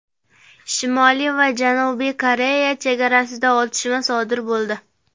Shimoliy va Janubiy Koreya chegarasida otishma sodir bo‘ldi.